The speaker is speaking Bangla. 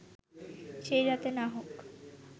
সেই রাতে না হোক